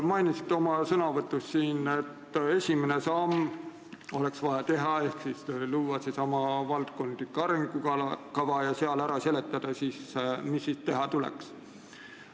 Mainisite oma sõnavõtus, et oleks vaja teha esimene samm ehk luua seesama valdkondlik arengukava ja seal ära seletada, mis siis teha tuleks.